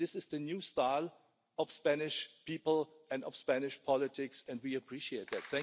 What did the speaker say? This is the new style of the Spanish people and of Spanish politics and we appreciate that.